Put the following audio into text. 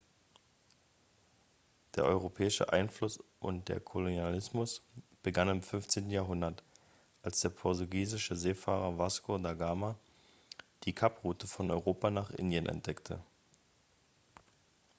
der europäische einfluss und der kolonialismus begannen im 15. jahrhundert als der portugiesische seefahrer vasco da gama die kaproute von europa nach indien entdeckte